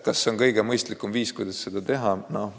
Kas see on kõige mõistlikum viis, kuidas seda teha?